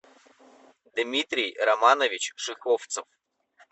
дмитрий романович шеховцев